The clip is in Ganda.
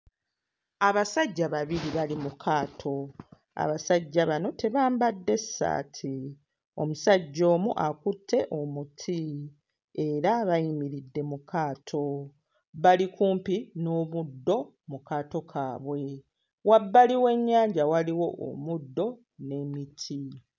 Abasajja babiri bali mu kaato. Abasajja bano tebambadde ssaati. Omusajja omu akutte omuti, era bayingidde mu kaato. Bali kumpi n'omuddo mu kaato kaabwe. Wabbali w'ennyanja waliwo omuddo n'emiti.